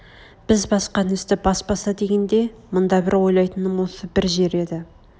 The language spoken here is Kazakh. біз басқан ізді баспаса дегенде мында бір ойлайтыным осы бір жер еді